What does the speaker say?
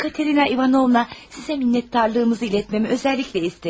Katerina İvanovna sizə minnətdarlığımızı ilətməmi özəlliklə istədi.